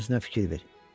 Özünə fikir ver.